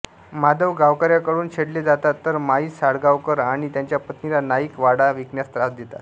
माधव गावकऱ्यांकडून छेडले जातात तर माई साळगावकर आणि त्यांच्या पत्नीला नाईक वाडा विकण्यास त्रास देतात